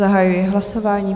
Zahajuji hlasování.